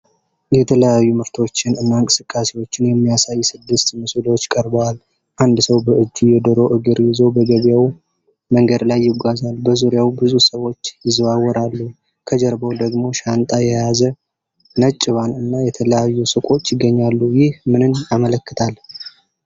የተለያዩ ምርቶችን እና እንቅስቃሴዎችን የሚያሳዩ ስድስት ምስሎች ቀርበዋል፡አንድ ሰው በእጁ የዶሮ እግር ይዞ በገበያው መንገድ ላይ ይጓዛል። በዙሪያው ብዙ ሰዎች ይዘዋወራሉ፣ ከጀርባው ደግሞ ሻንጣ የያዘ ነጭ ቫን እና የተለያዩ ሱቆች ይገኛሉ። ይህ ምንን ያመለክታል?